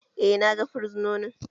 Eh na gan fursononin